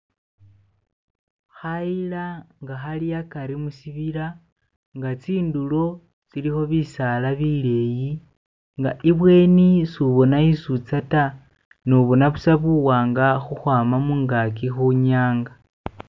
Kayira kali agati mushibira zinturo zako iliyo bisaala bileeyi, mumaaso koboona isi ulikuuza da, obonna buusa buwanga ukwama mungajji kunyanga.